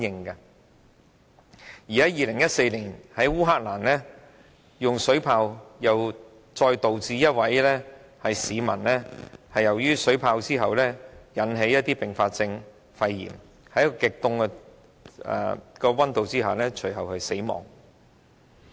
2014年，烏克蘭政府用水炮鎮壓示威者，導致一位被擊中的市民出現肺炎等併發症，隨後在極低溫度下死亡。